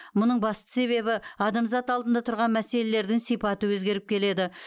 мұның басты себебі адамзат алдында тұрған мәселелердің сипаты өзгеріп келеді